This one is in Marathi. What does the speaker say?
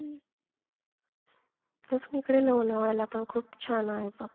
तसच हिकडे लोणावळ्याला पण खूप छान आहे बघ.